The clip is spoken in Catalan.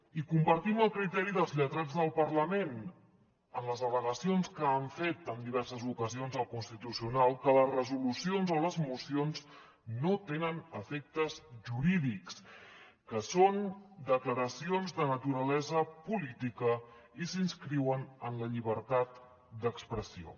i compartim el criteri dels lletrats del parlament en les al·legacions que han fet en diverses ocasions al constitucional que les resolucions o les mocions no tenen efectes jurídics que són declaracions de naturalesa política i s’inscriuen en la llibertat d’expressió